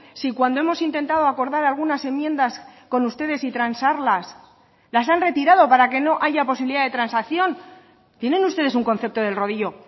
si cuando hemos intentado acordar algunas enmiendas con ustedes y transarlas las han retirado para que no haya posibilidad de transacción tienen ustedes un concepto del rodillo